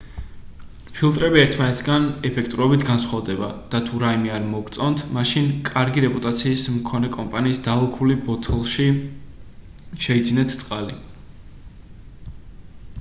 ფილტრები ერთმანეთისგან ეფექტურობით განსხვავდება და თუ რაიმე არ მოგწონთ მაშინ კარგი რეპუტაციის მქონე კომპანიის დალუქული ბოთლში შეიძინეთ წყალი